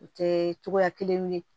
U tɛ togoya kelen